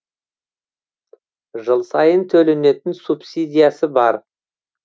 жыл сайын төленетін субсидиясы бар